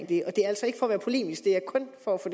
det og det er altså ikke for at være polemisk det er kun for at få